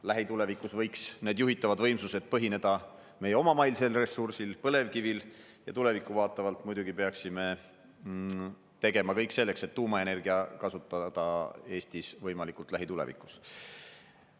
Lähitulevikus võiks need juhitavad võimsused põhineda meie omamaisel ressursil põlevkivil ja tulevikku vaatavalt muidugi peaksime tegema kõik selleks, et tuumaenergiat kasutada Eestis võimalikult lähitulevikus.